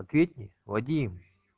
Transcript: ответь мне вадим